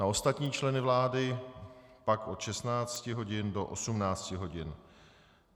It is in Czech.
Na ostatní členy vlády pak od 16.00 do 18.00 hodin.